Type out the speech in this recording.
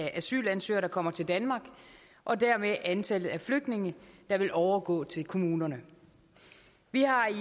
af asylansøgere der kommer til danmark og dermed antallet af flygtninge der vil overgå til kommunerne vi har i